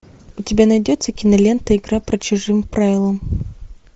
у тебя найдется кинолента игра по чужим правилам